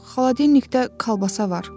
Xaladenikdə kalbasa var.